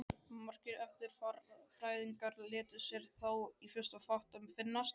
Margir erfðafræðingar létu sér þó í fyrstu fátt um finnast.